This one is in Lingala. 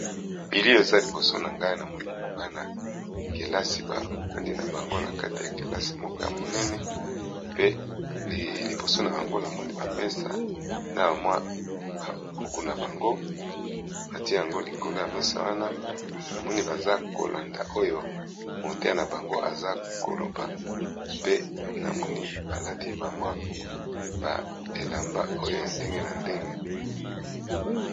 bili eza liboso na ngai namoni bana kelasi baandi na bango na kati ya kelasi moko ya monene pe liboso na bango namoni bapesa na bamwa bakuku na bango mati yango likolo ya mesa wana na moni baza kolanda oyo motea na bango aza koloba pe namoni balati bamwa ba elamba oyo ya ndenge na ndenge